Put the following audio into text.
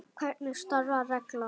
Hvernig starfar reglan?